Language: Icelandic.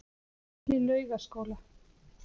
Litli Laugaskóla